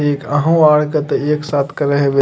एक अहो आर के ते एक साथ करे हेवे।